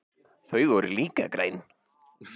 Þau voru líka græn.